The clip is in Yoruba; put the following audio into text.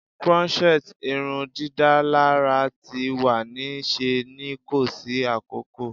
Crochet irundidalara ti wa ni ṣe ni ko si akoko